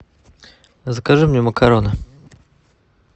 закажи мне макароны